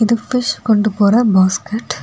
இது ஃபிஷ் கொண்டு போற பாஸ்கட் .